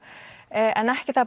en ekki